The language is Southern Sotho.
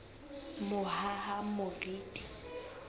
mohahamoriti